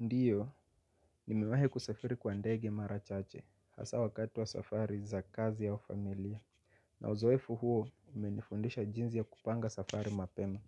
Ndiyo, nimewai kusafiri kwa ndege marachache, hasa wakati wa safari za kazi au familia. Na uzoefu huo, umenifundisha jinzi ya kupanga safari mapema,